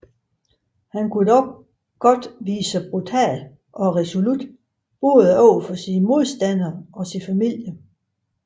Han kunne dog godt vise sig brutal og resolut både over for modstandere og familie